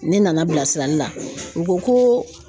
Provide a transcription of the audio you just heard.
Ne nana bilasirali la u ko ko